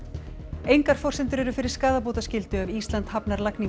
engar forsendur eru fyrir skaðabótaskyldu ef Ísland hafnar lagningu